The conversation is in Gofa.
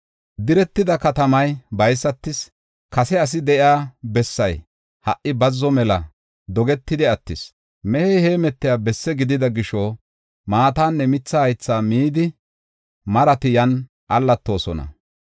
Diretida katamay baysatis; kase asi de7iya bessay ha77i bazzo mela dogetidi attis. Mehey heemetiya bessi gidida gisho, maatanne mitha haythaa midi marati yan allatoosona.